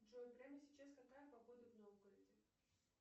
джой прямо сейчас какая погода в новгороде